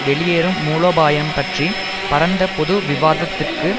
வெளியேறும் மூலோபாயம் பற்றி பரந்த பொது விவாதத்திற்கு